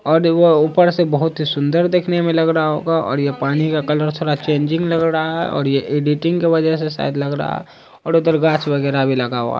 और वो ऊपर से बहुत ही सुंदर दिखने में लग रहा होगा और यह पानी का कलर थोड़ा चेंजिंग लग रहा है और ये एडिटिंग की वजह से सायद लगरा है और उधर गाछ वगेरा भी लगा हुआ --